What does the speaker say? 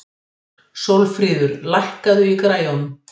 Sólfríður, lækkaðu í græjunum.